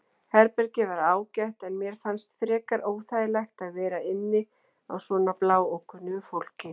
Herbergið var ágætt en mér fannst frekar óþægilegt að vera inni á svona bláókunnugu fólki.